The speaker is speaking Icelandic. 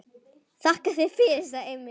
Þakka þér fyrir, sagði Emil.